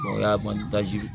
O y'a bannen taji